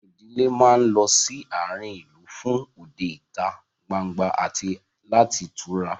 Àwọn ìdílé máa ń lọ sí àárín ìlú fún òde ìta gbangba àti láti tura